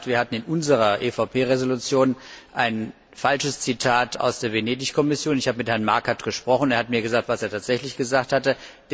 In der Tat, wir hatten in unserer EVP Entschließung ein falsches Zitat aus der Venedig Kommission. Ich habe mit Herrn Markert gesprochen. Er hat mir gesagt, was er tatsächlich gesagt hatte.